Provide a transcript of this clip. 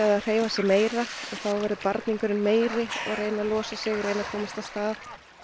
að hreyfa sig meira þá verður meiri reyna að losa sig komast af stað